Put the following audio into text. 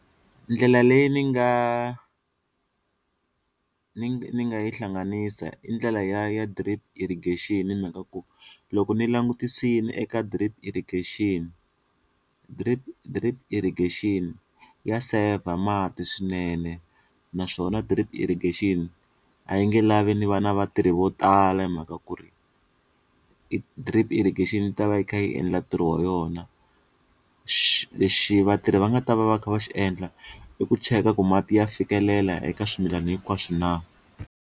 Ndlela leyi ni nga ni ni nga yi hlanganisa i ndlela ya ya drip irrigation hi mhaka ku loko ni langutisini eka drip irrigation, drip drip irrigation ya saver mati swinene naswona drip irrigation a yi nge lavi ni va na vatirhi vo tala hi mhaka ku ri e drip irrigation ta va yi kha yi endla ntirho wa yona lexi vatirhi va nga ta va va kha va xi endla i ku cheka ku mati ya fikelela eka swimilana hinkwaswo na.